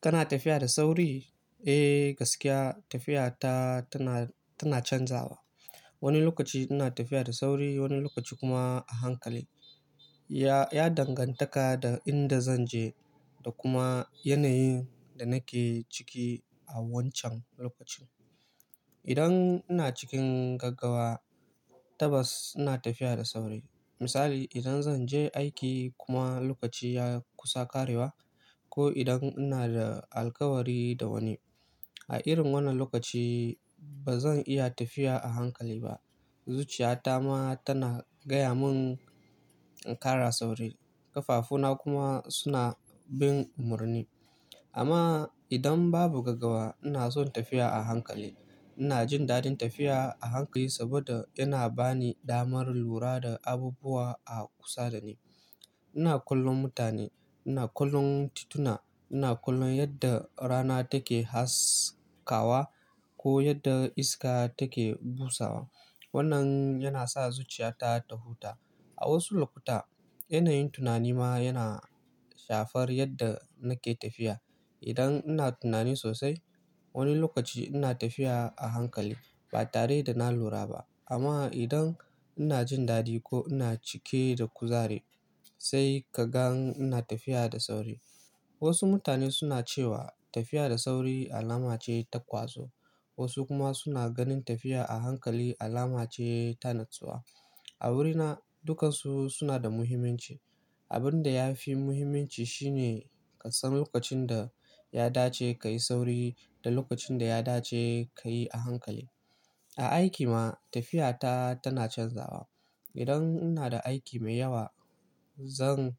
Kana tafiya da sauri? Eh gaskiya tafiya ta tana canzawa. Wani lokaci ina tafiya da sauri, wani lokaci kuma a hankali. Ya dangantaka da inda zan je da kuma yanayin da nake ciki a wancan lokacin. Idan ina cikin gaggawa tabbas ina tafiya da sauri. Misali idan zan je aiki kuma lokaci ya kusa ƙarewa ko idan ina da alkawari da wani. A irin wannan lokaci ba zan iya tafiya a hankali ba. Zuciyata ta ma tana gaya mun in ƙara sauri, ƙafafu na kuma suna bin murni. Amma idan babu gaggawa ina son tafiya a hankali. Ina jin daɗin tafiya a hankali saboda yana bani damar lura da abubuwa a kusa da ni. Ina kallon mutane, ina kallon tituna, ina kallon yadda rana take haskawa ko yadda iska take busawa. Wannan yana sa zuciyata ta huta. A wasu lokuta yanayin tunani ma yana shafar yadda nake tafiya. Idan ina tunani sosai wani lokaci ina tafiya a hankali ba tare da na lura ba. Amma idan ina jin dadi ko ina cike da kuzari sai ka gan ina tafiya da sauri. Wasu mutane suna cewa tafiya da sauri alama ce ta ƙwazo wasu kuma suna ganin tafiya a hankali alama ce ta natsuwa. A wurina dukansu suna da muhimmanci. Abin da yafi muhimmanci shine kasan lokacin da ya dace kayi sauri da lokacin da ya dace kayi a hankali. A aiki ma tafiya ta tana canzawa. Idan ina da aiki mai yawa zan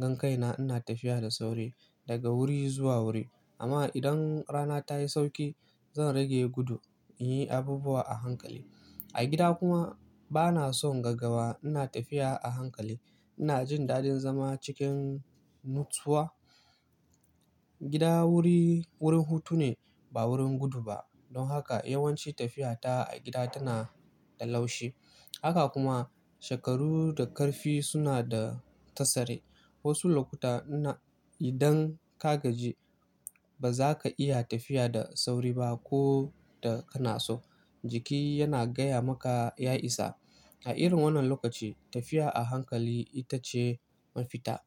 gangaina ina tafiya da sauri daga wuri zuwa wuri. Amma idan rana tayi sauki zan rage gudu in yi abubuwa a hankali. A gida kuma bana son gaggawa ina tafiya a hankali. Ina jin daɗin zama cikin nutsuwa. Gida wuri, wurin hutu ne ba wurin gudu ba. Don haka yawanci tafiya ta a gida tana da laushi. Haka kuma shekaru da ƙarfi suna da tasiri. Wasu lokuta na idan ka gaji ba za ka iya tafiya da sauri ba ko da kana so. Jiki yana gaya maka ya isa. A irin wannan lokaci tafiya a hankali ita ce mafita.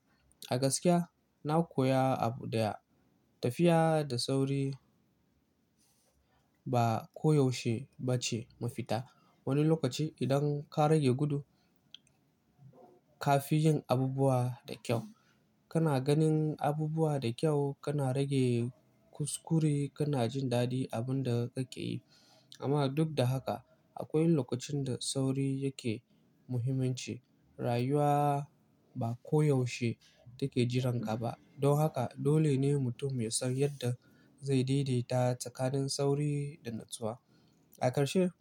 A gaskiya na koya abu daya tafiya da sauri ba koyaushe ba ce mafita. Wani lokaci idan ka rage gudu ka fi jin abubuwa da kyau. Kana ganin abubuwa da kyau, kana rage kuskure, kana jin daɗi abin da kake yi. Amma duk da haka akwai lokacin da sauri yake muhimmanci. Rayuwa ba koyaushe take jiranƙa ba. Don haka dole ne mutum ya san yadda zai daidaita tsakanin sauri da natsuwa. A ƙarshe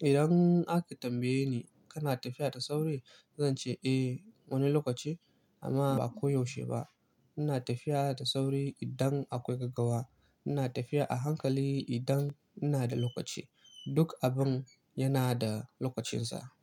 idan aka tambaye ni kana tafiya da sauri? Zan ce eh wani lokaci amma ba koyaushe ba. Ina tafiya da sauri idan akwai gaggawa. Ina tafiya a hankali idan ina da lokaci. Duk abun yana da lokacinsa.